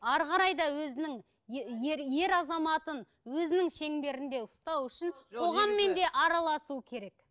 әрі қарай да өзінің ер ер азаматын өзінің шеңберінде ұстау үшін қоғаммен де араласу керек